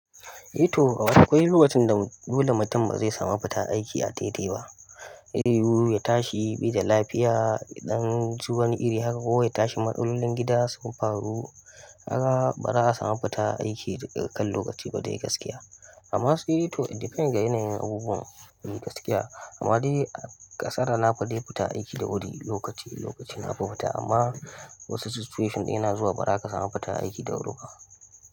Eh to, akwai lokacin da dole mutum bazai samu fita aiki a daidai ba. Zai yuwu ya tashi bai da lafiya, yaɗan ci wani iri haka ko ya tashi matsalolin gida su fafru, kaga ba za a samu fita aiki dakan lokaci ba dai gaskiya. Amma saide to it depends ga yanayin abubuwan, eh gaskiya. Amma dai ƙasar na fi dai fita aiki da wuri, lokaci-lokaci na fita amma wasu situation din yana zuwa ba za ka samu fita aiki da wuri ba.